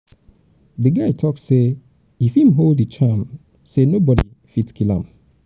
di guy tok sey if im hold di charm sey nobodi go fit kill am.